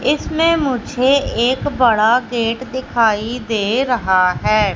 इसमें मुझे एक बड़ा गेट दिखाई दे रहा है।